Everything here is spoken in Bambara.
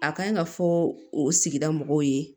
A kan ka fɔ o sigida mɔgɔw ye